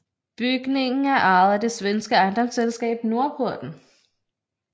Bygningen er ejet af det svenske ejendomsselskab Norrporten